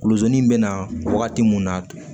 Kuluzon in bɛ na wagati mun na